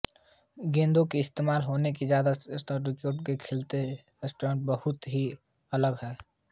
गेंदों का इस्तेमाल होनेवाले ज़्यादातर दूसरे रैकेट के खेलों से शटलकॉक बहुत ही अलग है